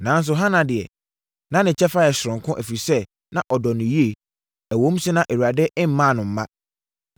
Nanso, Hana deɛ, na ne kyɛfa yɛ soronko, ɛfiri sɛ, na ɔdɔ no yie, ɛwom sɛ na Awurade mmaa no mma.